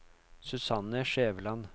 Susanne Skjæveland